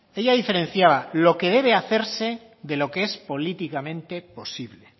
ella diferenciaba lo que debe hacerse de lo que es políticamente posible